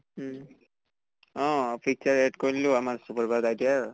উম uh picture add কৰিলোঁ আমাৰ বাইদেউৰ